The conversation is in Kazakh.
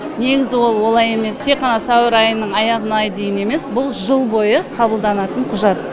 негізі ол олай емес тек қана сәуір айының аяғына дейін емес бұл жыл бойы қабылданатын құжат